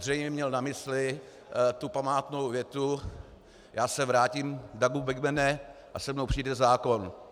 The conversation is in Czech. Zřejmě měl na mysli tu památnou větu: "Já se vrátím, Dougu Badmane, a se mnou přijde zákon".